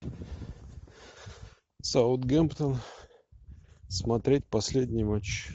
саутгемптон смотреть последний матч